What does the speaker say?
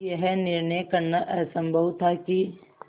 यह निर्णय करना असम्भव था कि